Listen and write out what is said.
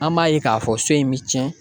An b'a ye k'a fɔ so in bɛ tiɲɛ.